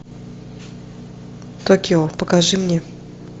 токио покажи мне